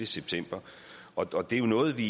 september og det er noget vi